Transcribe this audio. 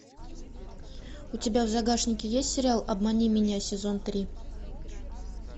у тебя в загашнике есть сериал обмани меня сезон три